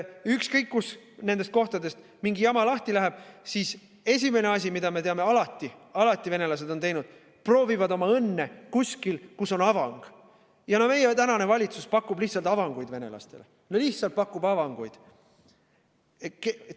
Ükskõik, kus nendes kohtades mingi jama lahti läheb, siis esimene asi, mida me teame, et venelased alati on teinud, on see, et nad proovivad õnne kuskil, kus on avang, ja meie tänane valitsus lihtsalt pakub venelastele avanguid, no lihtsalt pakub avanguid.